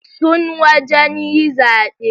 Sun wajan yi zabe